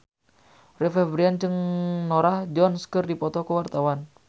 Rio Febrian jeung Norah Jones keur dipoto ku wartawan